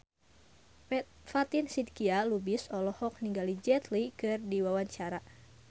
Fatin Shidqia Lubis olohok ningali Jet Li keur diwawancara